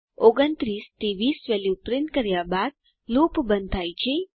29 થી 20 value print કર્યા બાદ લૂપ બંધ થાય છે